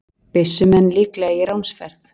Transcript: Byssumenn líklega í ránsferð